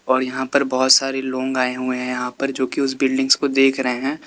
और यहां पर बहोत सारे लोग आए हुए हैं यहां पर जो कि उसे बिल्डिंग्स को देख रहे हैं।